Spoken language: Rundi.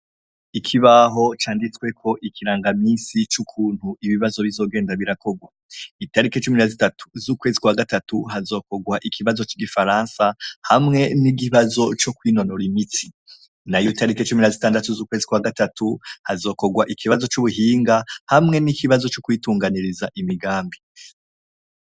Ikibaho canditsweko ikirangamisi cukuntu ibibazo bizogenda birakorwa. Italiki cumi na zitatu z’ukwezi kwa gatatu , hazokorwa ikibazo c’igifaransa hamwe n’ikibazo co kwinonora imitsi, nayo italiki cumi na zitandatu z’ukwezi kwa gatatu, hazokorwa ikibazo c’ubuhinga hamwe n’ikibazo co kwitunganiriza imigambi.